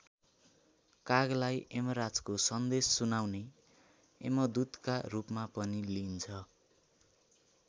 कागलाई यमराजको सन्देश सुनाउने यमदूतका रूपमा पनि लिइन्छ।